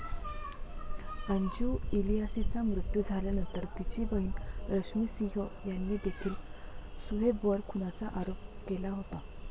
अंजू इलियासीचा मृत्यू झाल्यानंतर तिची बहीण रश्मी सिंह यांनीदेखील सुहेबवर खुनाचा आरोप केला होता.